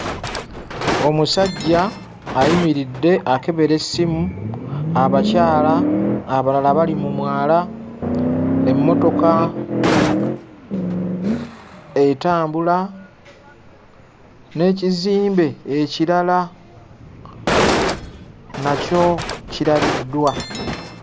Omusajja ayimiridde akebera essimu, abakyala abalala bali mu mwala, emmotoka etambula n'ekizimbe ekirala nakyo kirabiddwa.